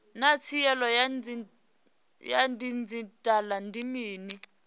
naa tsaino ya didzhithala ndi mini